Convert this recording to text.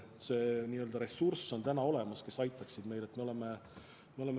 See ressurss, kes meid aitaks, on olemas.